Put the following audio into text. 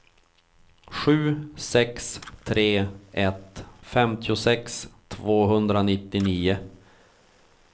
sju sex tre ett femtiosex tvåhundranittionio